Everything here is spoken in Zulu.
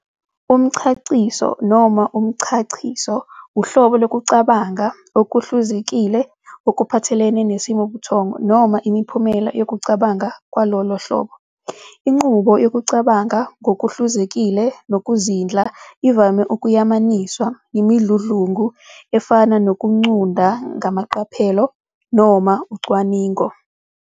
Umchaciso, noma umchachiso, uhlobo lokucabanga okuhluzekile okuphathelene nesimongotho, noma imiphumela yokucabanga kwalolo hlobo. Inqubo yokucabanga ngokuhluzekile nokuzindla ivame ukuyamaniswa nemidludlungu efana nokucunda ngamaqaphelo noma ucwaningo.